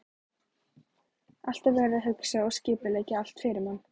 Alltaf verið að hugsa og skipuleggja allt fyrir mann.